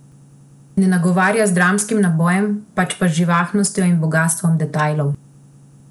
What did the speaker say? Ne nagovarja z dramskim nabojem, pač pa z živostjo in bogastvom detajlov.